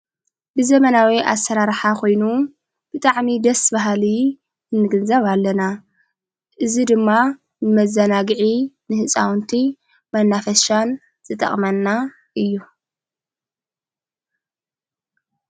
ብዘመናዊ ኣሠራርሓ ኾይኑ ብጣዕሚ ደስ ባሃል እንግንዘብ ኣለና እዝ ድማ መዛናጊዒ ንሕፃውንቲ መናፈሻን ዘጠቕመና እዩ፡፡